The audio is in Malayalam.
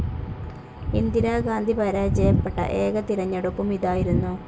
ഇന്ദിരാഗാന്ധി പരാജയപ്പെട്ട ഏക തിരഞ്ഞെടുപ്പും ഇതായിരുന്നു.